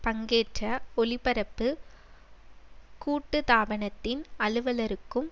பங்கேற்ற ஒளிபரப்பு கூட்டுத்தாபனத்தின் அலுவலருக்கும்